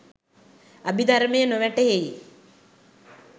අභිදර්මය නොවැටහෙයි